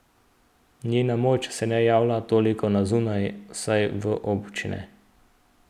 Njena moč se ne javlja toliko na zunaj, vsaj v obče ne.